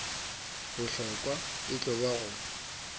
bohlokwa e tlo ba go